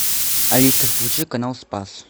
алиса включи канал спас